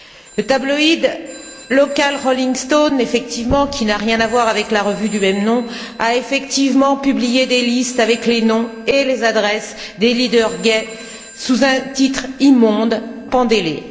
Le tabloïd local Rolling Stone qui n'a rien à voir avec la revue du même nom, a effectivement publié des listes avec les noms et les adresses des leaders gays sous un titre immonde Pendez les!